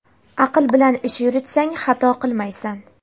aql bilan ish yuritsang xato qilmaysan.